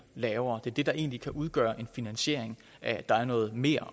lavere det er det der egentlig kan udgøre en finansiering at der er noget mere